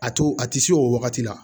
A to a ti se o wagati la